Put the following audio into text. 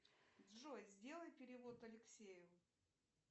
джой сделай перевод алексею